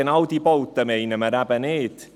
Genau diese Bauten meinen wir eben nicht.